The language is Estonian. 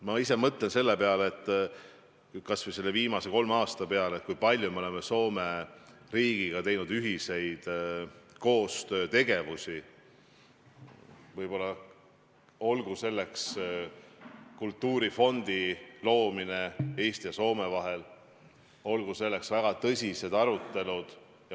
Ma ise mõtlen kas või selle viimase kolme aasta peale, kui palju me oleme Soome riigiga teinud ühiseid tegevusi, olgu selleks kultuurifondi loomine Eesti ja Soome vahel või olgu selleks väga tõsised arutelud.